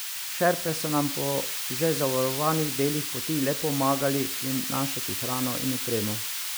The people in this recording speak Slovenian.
Šerpe so nam po že zavarovanih delih poti le pomagali prinašati hrano in opremo.